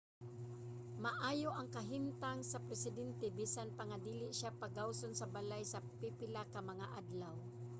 maayo ang kahimtang sa presidente bisan pa nga dili siya pagawason sa balay sa pipila ka mga adlaw